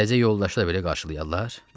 Təzə yoldaşı da belə qarşılayarlar?